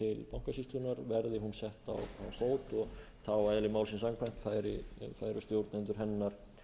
á fót og þá eðli málsins samkvæmt færu stjórnendur hennar